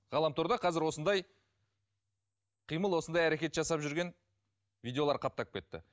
ғаламторда қазір осындай қимыл осындай әрекет жасап жүрген видеолар қаптап кетті